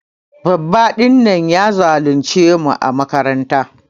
Babba din nan ya zulunce mu ã makaranta.